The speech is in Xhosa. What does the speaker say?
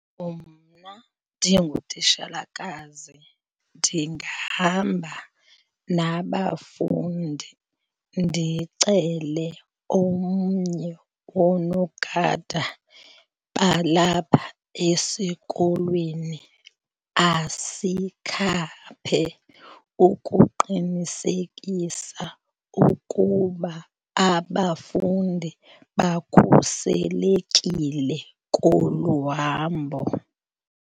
Mna ndingutitshalakazi ndingahamba nabafundi ndicele omnye woonogada balapha esikolweni asikhaphe ukuqinisekisa ukuba abafundi bakhuselekile kolu hambo.